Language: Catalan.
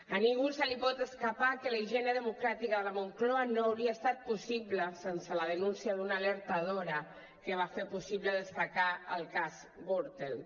a ningú se li pot escapar que la higiene democràtica a la moncloa no hauria estat possible sense la denúncia d’una alertadora que va fer possible destapar el cas gürtel